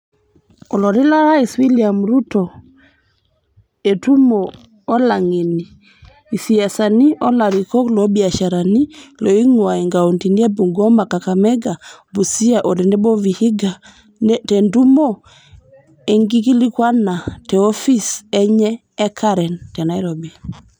Olotii lorais William Ruto etumo olangeni, isiasani o larikok loobiasharani looingua inkauntini e Bungoma, Kakamega, Busia o tenebo Vihiga tentumo enkikilikuana te ofis enye e Karen , te Nairobi.